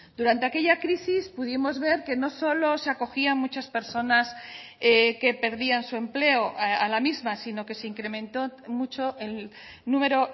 durante aquella crisis pudimos ver que no solo se acogían muchas personas que perdían su empleo a la misma sino que se incrementó mucho el número